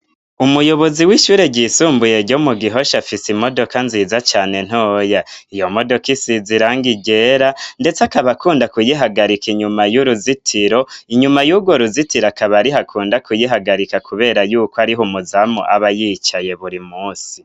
Umuyobozi w'ishure ryisumbuye ryo mu Gihosha afise imodoka nziza cane ntoya. Iyo modoka isize irangi ryera, ndetse akaba akunda kuyihagarika inyuma y'uruzitiro. Inyuma y'urwo ruzitiro akaba ariho akunda kuyihagarika, kubera yuko ari ho umuzamu aba yicaye buri munsi.